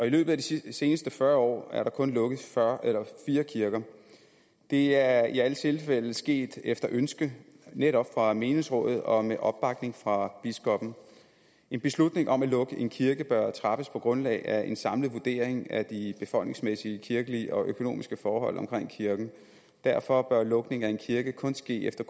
løbet af de seneste fyrre år er der kun lukket fire kirker det er i alle tilfælde sket efter ønske netop fra menighedsrådet og med opbakning fra biskoppen en beslutning om at lukke en kirke bør træffes på grundlag af en samlet vurdering af de befolkningsmæssige kirkelige og økonomiske forhold omkring kirken derfor bør lukningen af en kirke kun ske efter